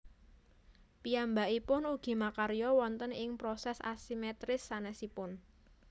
Piyambakipun ugi makarya wonten ing proses asimetris sanésipun